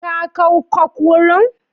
Ka kawkoc wurin.